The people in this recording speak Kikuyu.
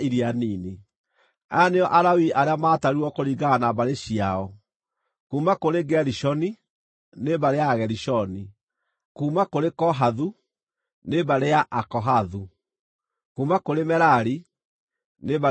Aya nĩo Alawii arĩa maatarirwo kũringana na mbarĩ ciao: kuuma kũrĩ Gerishoni, nĩ mbarĩ ya Agerishoni; kuuma kũrĩ Kohathu, nĩ mbarĩ ya Akohathu; kuuma kũrĩ Merari, nĩ mbarĩ ya Amerari.